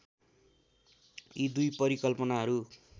यी दुई परिकल्पनाहरू